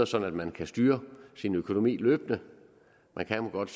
sådan at man kan styre sin økonomi løbende man kan godt